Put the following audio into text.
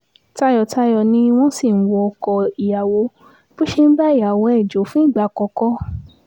tayọ̀tayọ̀ ni wọ́n sì ń wọ ọkọ ìyàwó bó ṣe ń bá ìyàwó ẹ̀ jọ fún ìgbà àkọ́kọ́